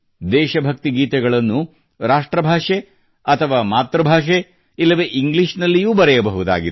ದೇಶಭಕ್ತಿ ಗೀತೆಗಳು ರಾಷ್ಟ್ರ ಭಾಷೆ ಅಥವಾ ಮಾತೃಭಾಷೆ ಇಲ್ಲವೆ ಇಂಗ್ಲೀಷ್ ನಲ್ಲಿಯೂ ಬರೆಯಬಹುದಾಗಿದೆ